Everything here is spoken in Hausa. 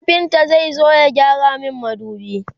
kafinta zai zo ya gyara min madubi